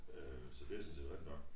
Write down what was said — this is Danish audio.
Øh så det sådan set rigtig nok